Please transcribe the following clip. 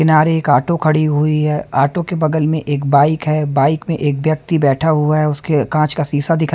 किनारे एक ऑटो खड़ी हुई है ऑटो के बगल में एक बाइक है बाइक में एक व्यक्ति बैठा हुआ है उसके कांच का शीशा दीखा --